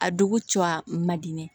A dugu cɔ a man di ne ye